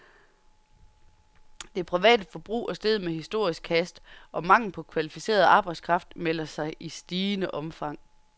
Det private forbrug er steget med historisk hast, og manglen på kvalificeret arbejdskraft melder sig i stigende omfang.